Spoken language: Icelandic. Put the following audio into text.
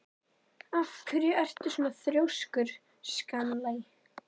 Af hverju ertu svona þrjóskur, Stanley?